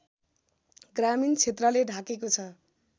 ग्रामीण क्षेत्रले ढाकेको छ